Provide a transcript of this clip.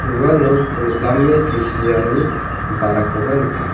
uano ko. dame tusiani ba·rakoba nika.